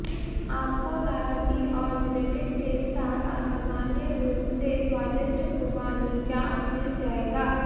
आपको नारंगी और जिलेटिन के साथ असामान्य रूप से स्वादिष्ट खुबानी जाम मिल जाएगा